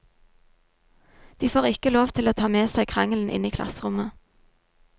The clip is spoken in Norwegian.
De får ikke lov til å ta med seg krangelen inn i klasserommet.